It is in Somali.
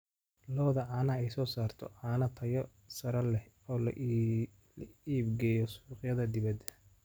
Lo'da caanaha ayaa soo saarta caano tayo sare leh oo loo iibgeeyo suuqyada dibadda.